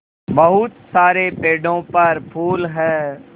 बहुत सारे पेड़ों पर फूल है